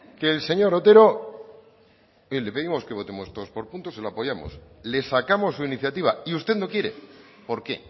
que el señor otero oye le pedimos que votemos todos por puntos se lo apoyamos le sacamos su iniciativa y usted no quiere por qué